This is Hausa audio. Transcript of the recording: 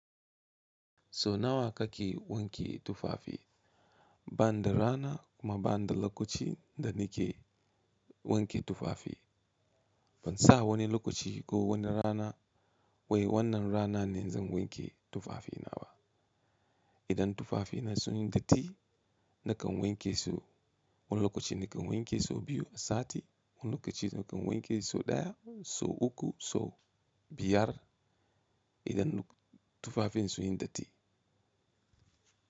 Sau nawa kake wanke tufafi? Banida rana kuma banida lokaci da nake wanke tufafi. Ban sa wani lokaci ko wani rana wai wannan rana ne zan wanke tufafina ba. Idan tufafina sunyi datti nakan wanke su. Wani lokaci nakan wanke sau biyu a sati, wani lokaci nakan wanke sau ɗaya, sau uku sau biyar idan tufafin sunyi datti.